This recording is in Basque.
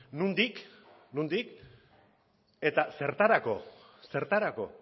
nondik nondik eta zertarako zertarako